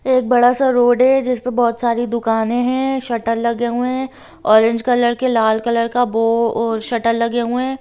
एक बड़ा सा रोड है जिस पे बहुत सारी दुकाने है। शटर लगे हुए है ऑरेज कलर के लाल कलर के बो अ शटर लगे हुए है।